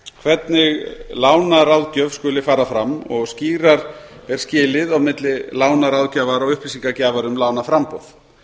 hvernig lánaráðgjöf skuli fara fram og skýrar skilið á milli lánaráðgjafar og upplýsingagjafar um lánaframboð